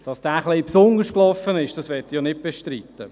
Dass dieser etwas besonders war, will ich nicht bestreiten.